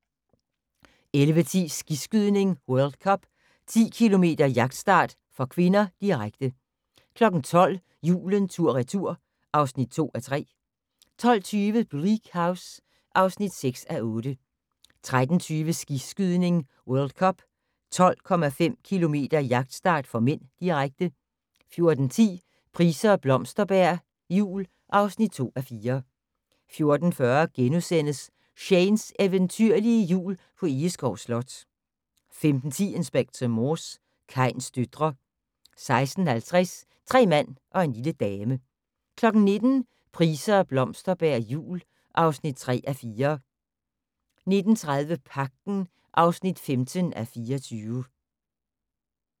11:10: Skiskydning: World Cup - 10 km jagtstart (k), direkte 12:00: Julen tur/retur (2:3) 12:20: Bleak House (6:8) 13:20: Skiskydning: World Cup - 12,5 km jagtstart (m), direkte 14:10: Price og Blomsterberg jul (2:4) 14:40: Shanes eventyrlige Jul på Egeskov Slot * 15:10: Inspector Morse: Kains døtre 16:50: Tre mand og en lille dame 19:00: Price og Blomsterberg jul (3:4) 19:30: Pagten (15:24)